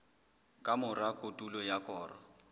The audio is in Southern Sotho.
ka mora kotulo ya koro